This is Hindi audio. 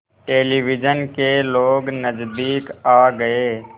टेलिविज़न के लोग नज़दीक आ गए